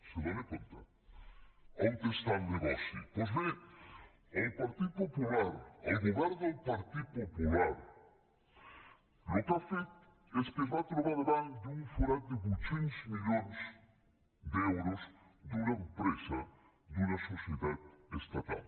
se n’adona on està el negoci doncs bé el partit popular el govern del partit popular el que ha fet és que es va trobar davant d’un forat de vuit cents milions d’euros d’una empresa d’una societat estatal